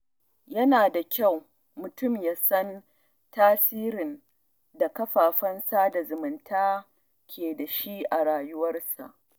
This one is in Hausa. Yana da kyau mutum ya san tasirin da kafafen sada zumunta ke da shi a rayuwarsa.